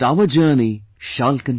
But our journey shall continue